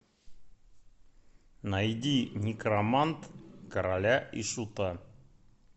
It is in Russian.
найди некромант короля и шута